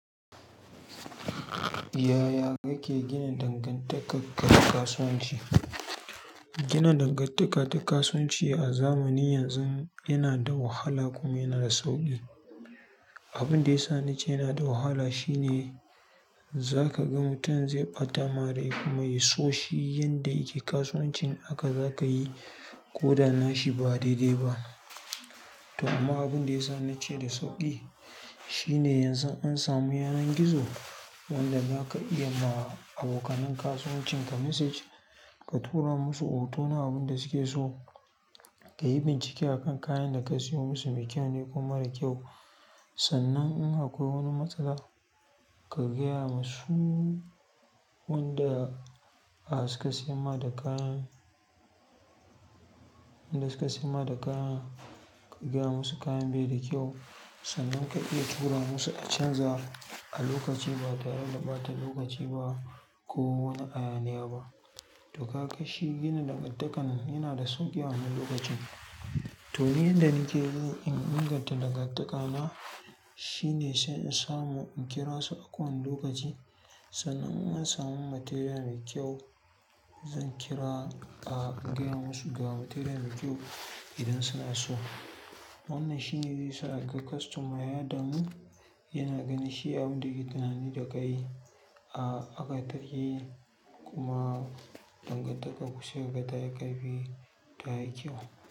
Yaya kake gina dangantaka da kasuwanci? Gina dangantaka da kasuwanci a zamanin yanzu yana da wahala kuma yana da sauƙi. Abunda yasa nace yanada wahala shine, za ka ga mutum zai ɓata marai kuma ya so shi yanda yake kasuwancin haka za ka yi ko da nashi ba daidai ba. To amma abin da ya sa nace da sauƙi shine yanzu an samu yanar gizo. Wanda za ka iya ma abokanin kasuwancin ka message ka tura musu hotuna abin da suke so ka yi bincike a kan kayan da ka siyo musu me kyau ne ko mara kyau. Sannan in akwai wani matsala ka gaya musu wanda, a suka siya ma da kayan, wanda suka siya ma da kayan ka gaya musu kayan bai da kyau. Sannan ka iya tura musu a canza a lokaci ba tare da ba ta lokaci ba ko wani ayaniya ba. To ka ga shi gina dangantakan yana da sauƙi a wannan lokacin. To yanda nake yi in inganta dangantaka na shine sai in samu in kira su akan lokaci. Sannan in an samu material mai kyau, zan kira a gaya musu ga material mai kyau idan suna so. Wannan shine zai sa kaga customer yardanu yana gani shi abu da ke tunani da ka yi a aka ta yi kuma dangantaka kusar da ta yi ƙarfi ta yi kyau.